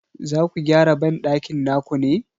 Zaku gyara banɗakin naku ne?